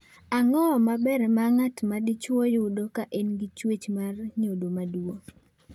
Ang’o ma ber ma ng'at ma dichuo yudo ka en gi chuech mar nyodo maduong’?